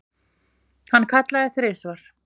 Hann kallaði þrisvar.